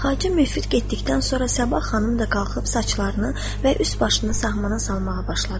Xacə Müfid getdikdən sonra Sabah xanım da qalxıb saçlarını və üst başını sahmana salmağa başladı.